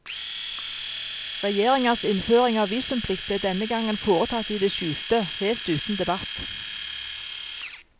Regjeringas innføring av visumplikt ble denne gangen foretatt i det skjulte, helt uten debatt.